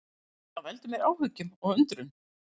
Það veldur mér áhyggjum og undrun